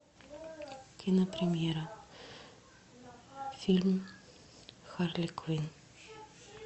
кинопремьера фильм харли квинн